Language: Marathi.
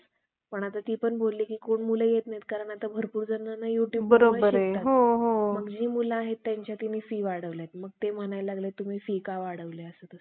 तर मित्रांनो, राष्ट्रपती राजवटसुद्धा आपण व्यवस्थितपणे अभ्यासलेले आहे. आता वित्तीय आणीबाणी, तर वित्तीय आणीबाणी कधी लागू होते? आतापर्यंत आपल्या देशात एकदाही लागू झालेली नाही. आता जे राष्ट्रीय आणीबाणी हि तीनदा लागू झाली.